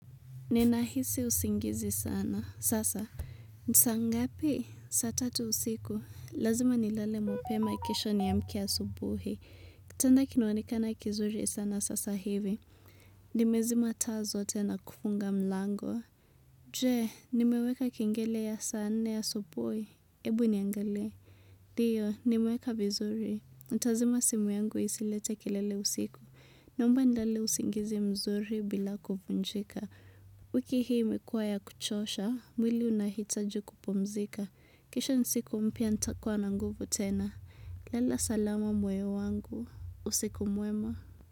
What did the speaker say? Ninahisi usingizi sana. Sasa. Ni saa ngapi? Saa tatu usiku. Lazima nilele mapema kesho niamke ya subuhi. Kutanda kinuwanika na kizuri sana sasa hivi. Nimezima taa zote na kufunga mlango. Jee, nimeweka kingele ya saa nne asubuhi. Ebu niangale. Dio, nimeweka vizuri. Nitazima simu yangu isilete kilele usiku. Naomba nilele usingizi mzuri bila kufunjika. Wiki hii imekua ya kuchosha, mwili unahitaju kupomzika. Kesho nsiku mpia ntakuwa na nguvu tena. Lala salama moyo wangu. Usiku mwema.